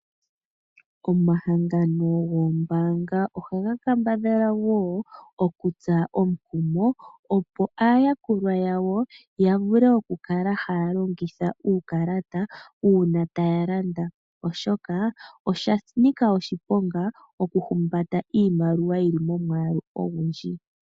Omahangano goombaanga oha ga kambadhala wo okutsa omukumo opo aayakulwa yawo ya kale taya longitha uukalata uuna taya landa. Oshoka osha nika oshiponga okuhumbata imaliwa yili omwaalu ogundji.